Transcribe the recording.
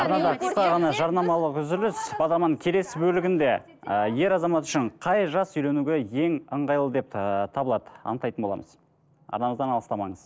арнада қысқа ғана жарнамалық үзіліс бағдарламаның келесі бөлігінде ы ер азамат үшін қай жас үйленуге ең ыңғайлы деп ыыы табылады анықтайтын боламыз арнамыздан алыстамаңыз